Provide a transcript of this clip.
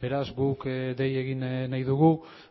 beraz guk dei egin nahi dugu